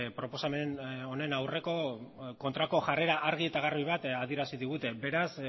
proposamen honen aurreko kontrako jarrera argi eta garbi adierazi digute beraz